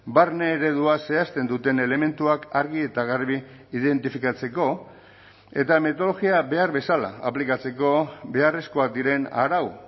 barne eredua zehazten duten elementuak argi eta garbi identifikatzeko eta metodologia behar bezala aplikatzeko beharrezkoak diren arau